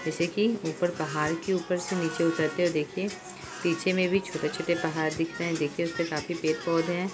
जैसे की ऊपर पहाड़ के ऊपर से निचे उतरते हुए देखिए पीछे मे भी छोटे-छोटे पहाड़ दिख रहे है देखिए उसमे काफी पेड़-पौधे है।